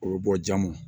O bɛ bɔ ja ma